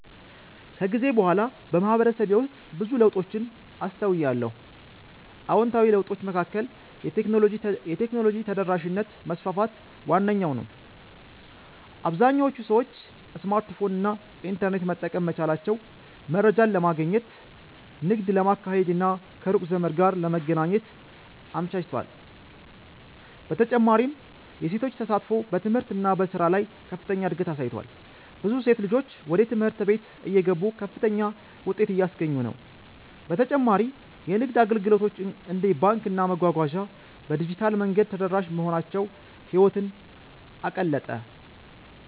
ከጊዜ በኋላ በማህበረሰቤ ውስጥ ብዙ ለውጦችን አስተውያለሁ። አዎንታዊ ለውጦቹ መካከል የቴክኖሎጂ ተደራሽነት መስፋፋት ዋነኛው ነው - አብዛኞቹ ሰዎች ስማርትፎን እና ኢንተርኔት መጠቀም መቻላቸው መረጃን ለማግኘት፣ ንግድ ለማካሄድ እና ከሩቅ ዘመድ ጋር ለመገናኘት አመቻችቷል። በተጨማሪም የሴቶች ተሳትፎ በትምህርት እና በሥራ ላይ ከፍተኛ እድገት አሳይቷል፤ ብዙ ሴት ልጆች ወደ ትምህርት ቤት እየገቡ ከፍተኛ ውጤት እያስገኙ ነው። በተጨማሪ የንግድ አገልግሎቶች እንደ ባንክና መጓጓዣ በዲጂታል መንገድ ተደራሽ መሆናቸው ህይወትን አቀለጠ።